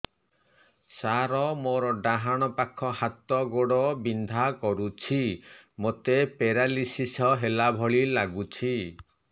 ସାର ମୋର ଡାହାଣ ପାଖ ହାତ ଗୋଡ଼ ବିନ୍ଧା କରୁଛି ମୋତେ ପେରାଲିଶିଶ ହେଲା ଭଳି ଲାଗୁଛି